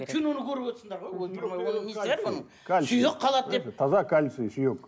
киноны көріп отырсыңдар ғой ойпырмай оның несі бар оның сүйек қалады деп таза кальций сүйек